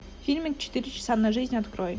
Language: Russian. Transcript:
фильмик четыре часа на жизнь открой